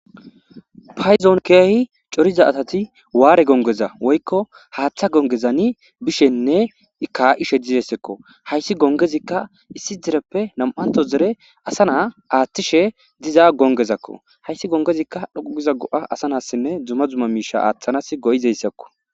Payzon keehi coriza asathi waare gonggeza woykko haaththa gongezani bishenne kaa7ishe dizzeysekko; hayssi gonggezikka issi dzereppe nam7anththo dzere asa naa aaththishe diza gonggezakko; hayssi gonggezikka dhoqqu giza go7a asa nassinne dzumma dzumma miishshaa aaththanassi go7izeyssakko.